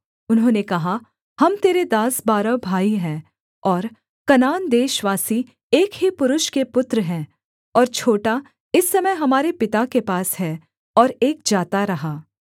उन्होंने कहा हम तेरे दास बारह भाई हैं और कनान देशवासी एक ही पुरुष के पुत्र हैं और छोटा इस समय हमारे पिता के पास है और एक जाता रहा